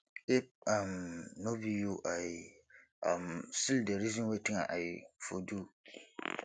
if um no be you i um still dey reason wetin i for do